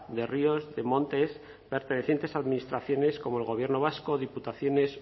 de ríos de montes pertenecientes a administraciones como al gobierno vasco diputaciones